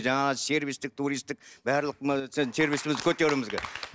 жаңағы сервисттік туристтік барлық сервисімізді көтеруіміз керек